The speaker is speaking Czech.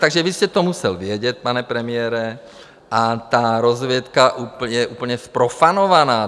Takže vy jste to musel vědět, pane premiére, a ta rozvědka je úplně zprofanovaná.